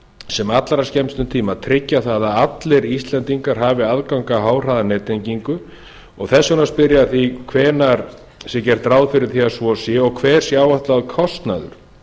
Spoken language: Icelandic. sem allra skemmstum tíma að tryggja það að allir íslendingar hafi aðgang að háhraðanettengingu og þess vegna spyr ég að því hvenær sé gert ráð fyrir því að svo sé og hver sé áætlaður kostnaður